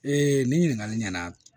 ni ɲininkali ɲɛna